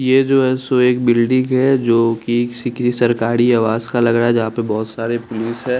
ये जो है सो एक बिल्डिंग हैं जो किसी सरकारी आवास का लग रहा हैं जहाँ पर बहुत सारे पुलिस हैं ।